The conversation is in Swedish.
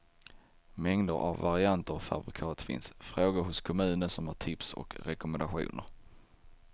Mängder av varianter och fabrikat finns, fråga hos kommunen som har tips och rekommendationer.